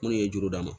Minnu ye juru d'a ma